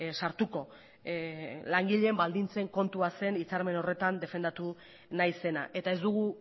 sartuko langileen baldintzen kontua zen hitzarmen horretan defendatu nahi zena eta ez dugu